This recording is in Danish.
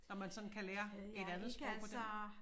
Når man sådan kan lære et andet sprog på den måde